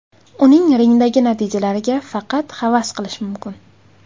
Uning ringdagi natijalariga faqat havas qilish mumkin.